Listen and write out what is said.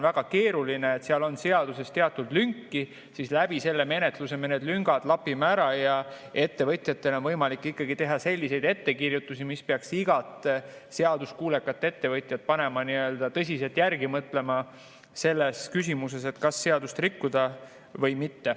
Seaduses on teatud lünki, aga selle menetlusega me need lüngad lapime ära ja siis on ettevõtjatele võimalik teha selliseid ettekirjutusi, mis peaks iga seaduskuulekat ettevõtjat panema tõsiselt järele mõtlema, kas seadust rikkuda või mitte.